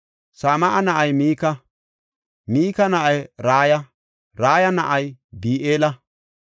Sama7a na7ay Mika; Mika na7ay Raya; Raya na7ay Bi7eela.